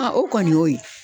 o kɔni y'o ye